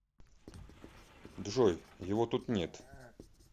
джой его тут нет